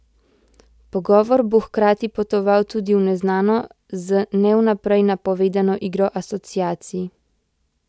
Pogovor bo hkrati potoval tudi v neznano, z ne vnaprej napovedano igro asociacij.